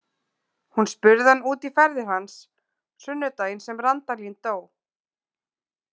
Hún spurði hann út í ferðir hans sunnudaginn sem Randalín dó.